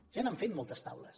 ja n’han fet moltes de taules